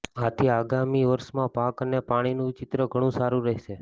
આથી આગામી વર્ષમાં પાક અને પાણીનું ચિત્ર ઘણું સારુ રહેશે